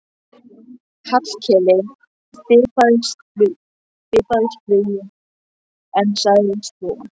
Hallkeli fipaðist flugið en sagði svo